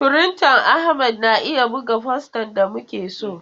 Firintan Ahmad na iya buga fosta da muke so.